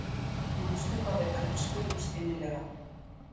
Manstu hvað við elskuðumst innilega?